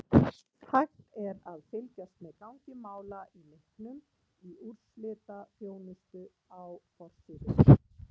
Hægt er að fylgjast með gangi mála í leiknum í úrslitaþjónustu á forsíðu.